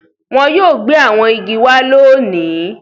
Wọn yóò gbé àwọn igi wá lóòní.